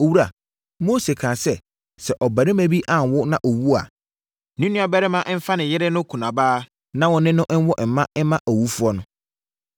“Owura, Mose kaa sɛ, ‘Sɛ ɔbarima bi anwo na ɔwu a, ne nuabarima mfa ne yere no kunabaa na ɔne no nwo mma owufoɔ no.